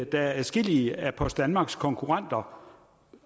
der er adskillige af post danmarks konkurrenter